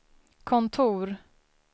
kontor